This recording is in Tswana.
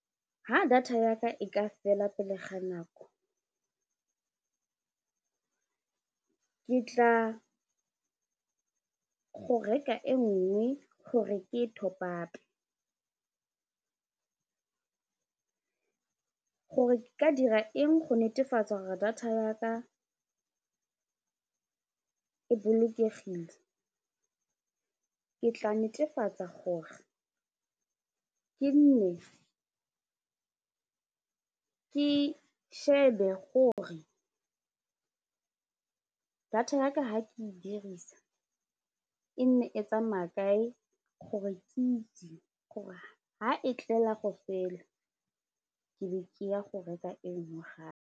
Ha data yaka e ka fela pele ga nako ke tla go reka e nngwe gore ke e top up-e gore ke ka dira eng go netefatsa gore data yaka e bolokegile ke tla netefatsa gore ke nne ke shebe gore data yaka ha ke e dirisa e nne e tsamaya kae gore ke itse gore ha e tlela go fela ke be ke ya go reka enngwe gape.